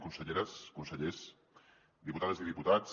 conselleres consellers diputades i diputats